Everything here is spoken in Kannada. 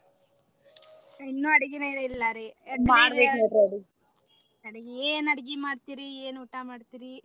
ಇನ್ನು ಅಡ್ಗಿನ ಇಲ್ಲಾರಿ ಏನ ಅಡಗಿ ಮಾಡತೇರಿ? ಏನ ಊಟಾ ಮಾಡ್ತೇರಿ?